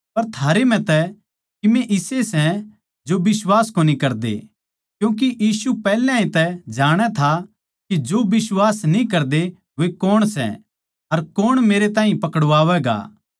पर थारैम्ह तै किमे इसे सै जो बिश्वास कोनी करदे क्यूँके यीशु पैहल्या तै ए जाणै था के जो बिश्वास न्ही करदे वे कौण सै अर कौण मेरैताहीं पकड़वावैगा